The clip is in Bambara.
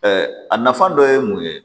a nafa dɔ ye mun ye